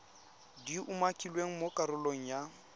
di umakilweng mo karolong ya